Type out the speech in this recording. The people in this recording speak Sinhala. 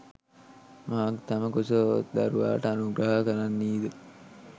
මවක් තම කුස ඔත් දරුවාට අනුග්‍රහ කරන්නී ද